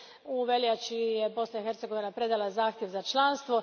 U veljači je Bosna i Hercegovina predala zahtjev za članstvo.